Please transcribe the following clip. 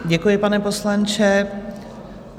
Děkuji, pane poslanče.